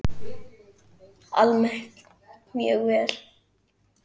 Almennt mjög vel.